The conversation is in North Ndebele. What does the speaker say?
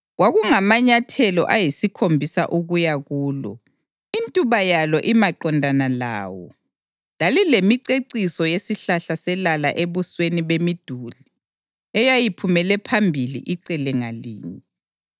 Kwakungamanyathelo ayisikhombisa ukuya kulo, intuba yalo imaqondana lawo; lalilemiceciso yesihlahla selala ebusweni bemiduli eyayiphumele phambili icele ngalinye.